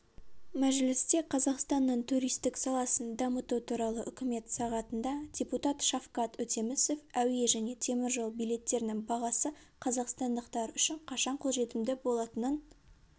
мәжілісте қазақстанның туристік саласын дамыту туралы үкімет сағатында депутат шавкат өтемісов әуе және теміржол билеттерінің бағасы қазақстандықтар үшін қашан қолжетімді болатынын